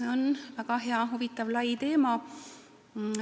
See on väga hea, huvitav ja lai teema.